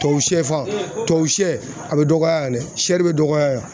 Tubabu shɛ fan, tubabu shɛ a bɛ dɔgɔya dɛ, bɛ dɔgɔya yan.